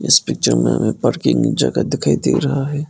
इस पिक्चर में हमें पार्किंग जगह दिखाई दे रहा है।